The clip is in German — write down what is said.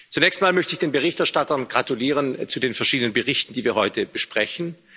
Zunächst einmal möchte ich den Berichterstattern gratulieren zu den verschiedenen Berichten, die wir heute besprechen.